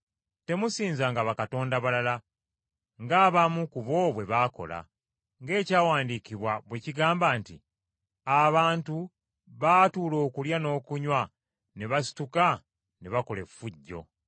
Temusinzanga bakatonda balala, ng’abamu ku bo bwe baali, ng’Ekyawandiikibwa bwe kigamba nti, “Abantu baatuula okulya n’okunywa ne basituka ne bakola effujjo.”